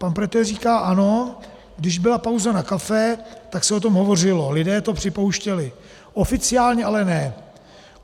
Pan Pretel říká: "Ano, když byla pauza na kafe, tak se o tom hovořilo, lidé to připouštěli, oficiálně ale ne.